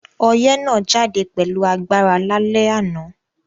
Oyẹ́ náà jáde pẹ̀lu agbára lálẹ́ ànán